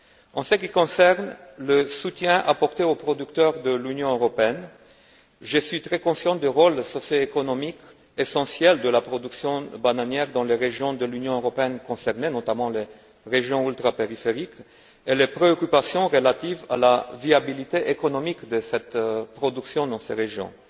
En ce qui concerne le soutien apporté aux producteurs de l'Union européenne, je suis très conscient du rôle socioéconomique essentiel de la production bananière dans les régions de l'Union européenne concernées notamment les régions ultrapériphériques et des préoccupations relatives à la viabilité économique de cette production dans ces régions.